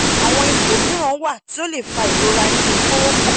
awọn ipo miiran wa ti o le fa irora ninu koropon